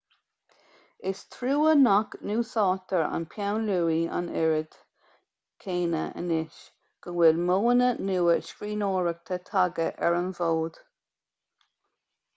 is trua nach n-úsáidtear an peann luaidhe an oiread céanna anois go bhfuil modhanna nua scríbhneoireachta tagtha ar an bhfód